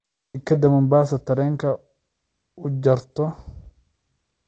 Tikidhka Mombasa tareen u jarto